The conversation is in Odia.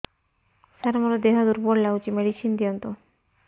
ସାର ମୋର ଦେହ ଦୁର୍ବଳ ଲାଗୁଚି ମେଡିସିନ ଦିଅନ୍ତୁ